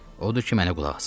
Odur ki, mənə qulaq asın.